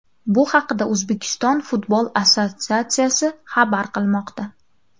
Bu haqda O‘zbekiston futbol assotsiatsiyasi xabar qilmoqda .